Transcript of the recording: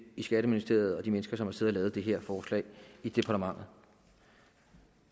skatteministeriet og de mennesker som har siddet og lavet det her forslag i departementet